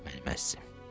Mənim əzizim.